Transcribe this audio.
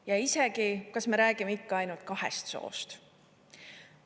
Ja isegi, kas me räägime ikka ainult kahest soost?